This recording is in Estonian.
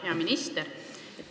Hea minister!